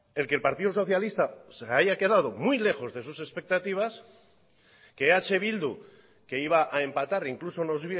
el que el partido socialista se había quedado muy lejos de sus expectativas que eh bildu que iba a empatar incluso nos